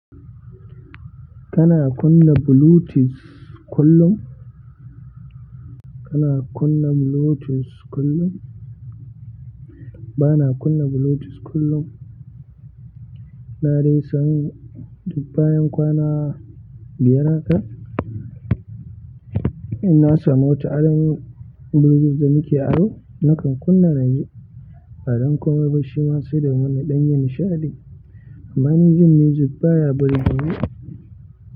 Kana kunna Bluetooth kullum? Kana kunna Bluetooth kullum? Bana kunna Bluetooth kullum. Na dai san duk bayan kwana biyar haka, in na samun wa ta ainihin Bluetooth da nake aro, nakan kunna na ji, ba don komai ba shi ma sai domin na ɗan ji nishaɗi. Amma ni jin music baya burge ni.